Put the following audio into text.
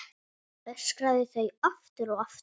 Öskraði það aftur og aftur.